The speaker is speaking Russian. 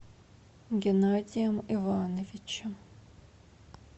геннадием ивановичем